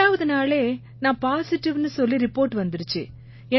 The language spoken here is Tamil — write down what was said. ரெண்டாவது நாளே நான் பாசிடிவ்னு சொல்லி ரிபோர்ட் வந்திருச்சு